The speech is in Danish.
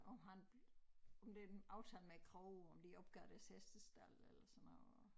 Og han og det en aftale med æ kro om de opgav deres hestestald eller sådan noget